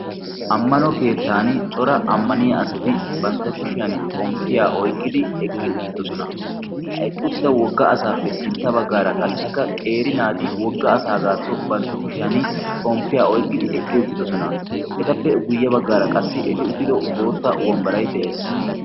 ammano keettan cora ammaniya asati bantta kushiyan xomppiyaa oyqqidi eqqi uttidosona. ha eqqi uttido wogga asaappe sintta baggaara qassikka qeeri naati wogga asaagaakko bantta kushiyan xomppiyaa oyqqidi eqqi uttidosona. etappe guyye baggaara qassi eti uttido bootta wambbaray de7ees.